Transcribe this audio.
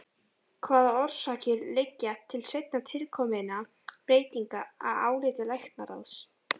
Hvaða orsakir liggja til seinna tilkominna breytinga að áliti læknaráðs?